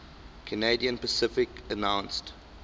canadian pacific announced